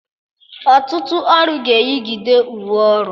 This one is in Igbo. Ọtụtụ ọrụ ga-eyigide uwe ọrụ